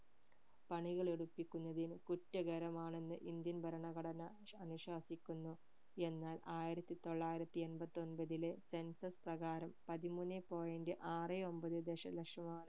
പണികൾ എടുപ്പിക്കുന്നതിന് കുറ്റകരമാണെന്ന് indian ഭരണഘടനാ ശ് അനുശ്വാസിക്കുന്നു എന്നാൽ ആയിരത്തി തൊള്ളായിരത്തി എൺപത്തി ഒൻപതിലെ census പ്രകാരം പതിമൂന്നെ point ആറെ ഒമ്പത് ദശലക്ഷം ആണ്